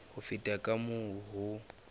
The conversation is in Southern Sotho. ho feta ka moo ho